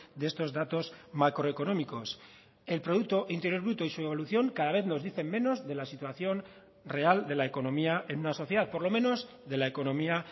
de estos datos macroeconómicos el producto interior bruto y su evolución cada vez nos dicen menos de la situación real de la economía en una sociedad por lo menos de la economía